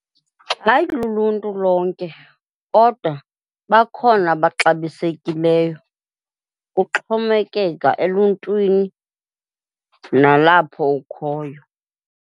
Hayi, luluntu lonke kodwa bakhona abaxabisekiley. Kuxhomekeka eluntwini nalapho ukhoyo.